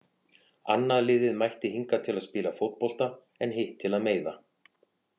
Annað liðið mætti hingað til að spila fótbolta en hitt til að meiða.